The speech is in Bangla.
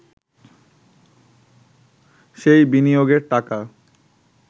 সেই বিনিয়োগের টাকা